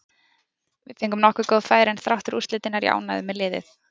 Við fengum nokkur góð færi, en þrátt fyrir úrslitin er ég ánægður með liðið.